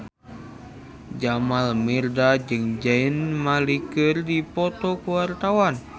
Jamal Mirdad jeung Zayn Malik keur dipoto ku wartawan